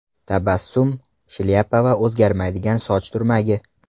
Tabassum, shlyapa va o‘zgarmaydigan soch turmagi.